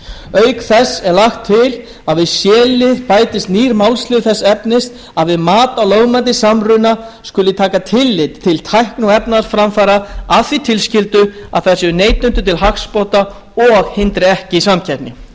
auk þessa er lagt til að við c lið bætist nýr málsliður þess efnis að við mat á lögmæti samruna skuli tekið tillit til tækni og efnahagsframfara að því tilskildu að þær séu neytendum til hagsbóta og hindri ekki samkeppni